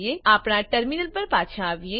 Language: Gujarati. આપણા ટર્મીનલ પર પાછા આવીએ